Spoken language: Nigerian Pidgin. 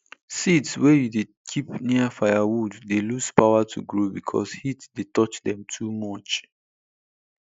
seeds wey you keep near firewood dey lose power to grow because heat dey touch dem too much